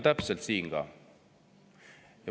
Täpselt nii on siin ka.